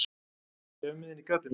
Bréfmiðinn í gatinu.